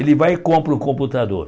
Ele vai e compra o computador.